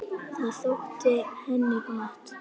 Það þótti henni gott.